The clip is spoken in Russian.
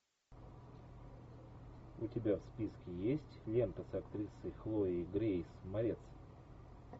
у тебя в списке есть лента с актрисой хлоей грейс морец